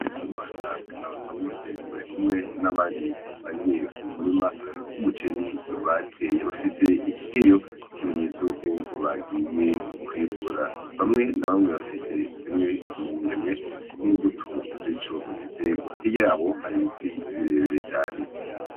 Ndikumana na Basabose barikumwe n’abandi basangiye umurima w’umuceri bateye . Bafise ikigeyo nk’ikimenyetso yuko bagiye kwimbura , bamwe na bamwe bafise zimwe mu ngemwe n’imbuto z’ico giterwa ,hirya yabo hari ibiti birebire cane.